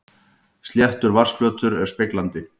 Sléttur vatnsflötur er speglandi.